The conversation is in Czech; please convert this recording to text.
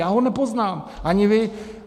Já ho nepoznám, ani vy.